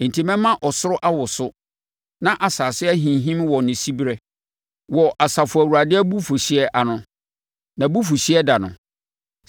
Enti mɛma ɔsoro awoso; na asase ahinhim wɔ ne siberɛ wɔ Asafo Awurade abufuhyeɛ ano, nʼabufuhyeɛ da no.